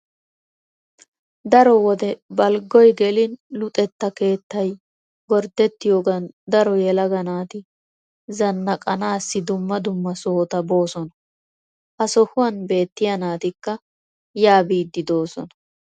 Daro wode balggoy gelin Luxetta keettay gorddettiyogan daro yelaga naati zannqqanaassi dumma dumma sohota boosona. Ha sohuwan beettiya naatikka yaa biiddi de'oosona.